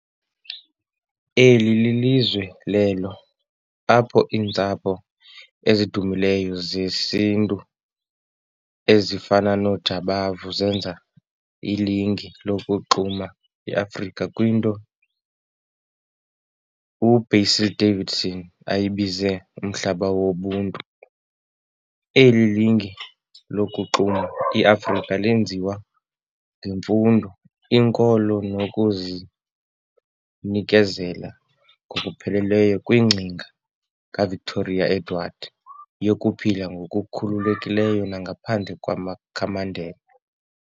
Eli lizwe lelo apho iintsapho ezidumileyo zesiNtu ezifana nooJabavu zenza ilinge lokuxuma iAfrika kwinto uBasil Davidson ayibiza "umhlaba wobuntu". Eli linge lokuxuma iAfrika lenziwa ngemfundo, inkolo nokuzinekezela ngokupheleleyo kwingcinga kaVictoria-Edward yokuphila ngokukhululekileyo nangaphandle kwamakhamandela.